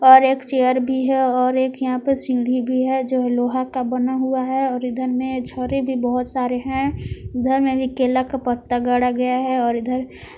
और एक चेयर भी है और एक यहां पर सीढ़ी भी है जो लोहा का बना हुआ है और इधर में छोरी भी बहुत सारे हैं घर में भी केला का पत्ता गड़ा गया है और इधर।